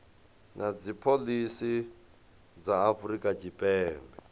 na dzipholisi dza afrika tshipembe